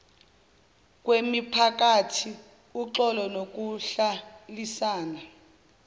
kwemiphakathi uxolo nokuhlalisana